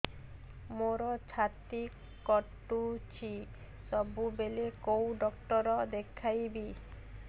ମୋର ଛାତି କଟୁଛି ସବୁବେଳେ କୋଉ ଡକ୍ଟର ଦେଖେବି